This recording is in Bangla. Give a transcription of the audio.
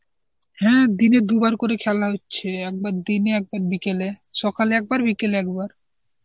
হ্যাঁ, দিনে দুবার করে খেলা হচ্ছে, একবার দিনে, একবার বিকেলে. সকালে একবার বিকেলে একবার.